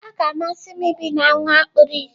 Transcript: Ọ ga-amasị m ibi na nwa kpuru ìsì.